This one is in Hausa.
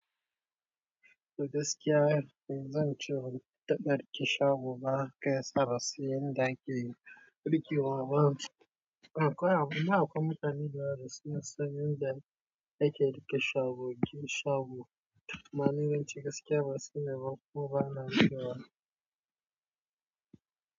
Gaskiya zan ce, ban taɓa riƙe shgo ba haka yasa bansan yanda ake ɗukiwa ba. Akwai, akwai mutane da yawa basu sana son yanda ake riƙe shago, yi shago. Domin yawanci gaskiya ban sani ba, kuma ba na so.